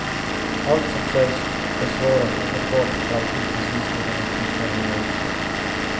Allt som sägs besvaras omedelbart och alltid precis innan en tystnad hinner uppstå.